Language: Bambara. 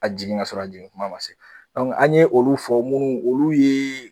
Ka jigin ka sɔrɔ jigin kuma ma se . an ye olu fɔ munnu olu ye